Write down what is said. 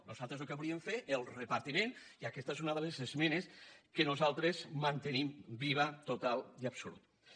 nosaltres el que volíem fer és el repartiment i aquesta és una de les esmenes que nosaltres mantenim viva totalment i absolutament